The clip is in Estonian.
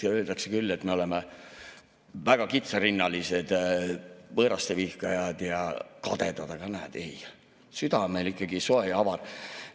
Öeldakse küll, et me oleme väga kitsarinnalised, võõraste vihkajad ja kadedad, aga näed, süda on meil ikkagi soe ja avar.